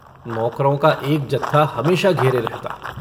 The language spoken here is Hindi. नौकरों का एक जत्था हमेशा घेरे रहता।